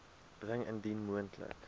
bring indien moontlik